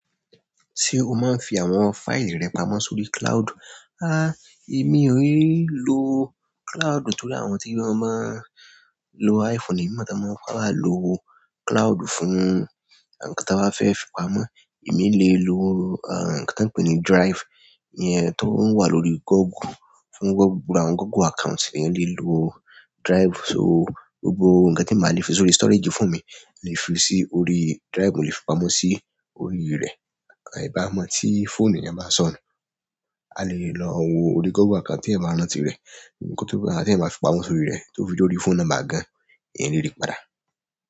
Ṣé o máa ń fi àwọn fáìlì rẹ pamọ́ sórí cloud? Há! Èmi ò lè lo cloud, torí àwọn tí wọ́n máa ń lo iPhone, èmi mo to maa sábà lo cloud fún nkan tí wọ́n bá fẹ́ fi pamọ́. Èmi lè lo, ah, nkan tí wọ́n ń pè ní drive iyẹn tó ń wà lórí Google. Fún Google, àwọn Google account, èeyan lè lo drive. So, gbogbo nkan tí mi o bá lè fi sórí storage fóònù mi, mo lè fi sí orí drive, mo lè fi pamọ́ sí orí rẹ̀. Àì bá mọ́ tí phone eeyan bá sọnù, a lè lọ wo orí Google account tí ẹ máa rántí rẹ̀, nkan tí ẹ bá, tí ẹ máa fi pamọ́ sórí rẹ̀ tó fi dé orí phone nọ́mbà gan, eeyan lè rí padà.